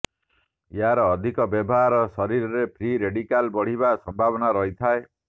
ଏହାର ଅଧିକ ବ୍ୟବହାର ଶରୀରରେ ଫ୍ରି ରେଡିକାଲ ବଢ଼ିବାର ସମ୍ଭାବନା ରହିଥାଏ